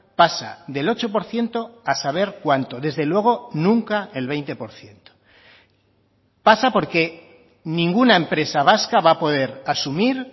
pasa del ocho por ciento a saber cuánto desde luego nunca el veinte por ciento pasa porque ninguna empresa vasca va a poder asumir